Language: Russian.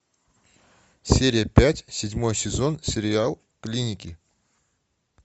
серия пять седьмой сезон сериал клиники